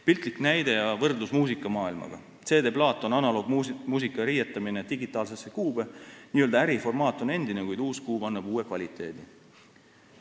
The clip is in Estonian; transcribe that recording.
Piltlik näide ja võrdlus muusikamaailmaga: CD-plaat on analoogmuusika riietamine digitaalsesse kuube – n-ö äri formaat on endine, kuid uus kuub annab uue kvaliteedi.